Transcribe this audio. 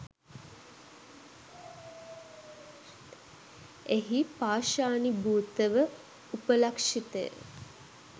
එහි පාෂාණීභූත ව උපලක්ෂිත ය.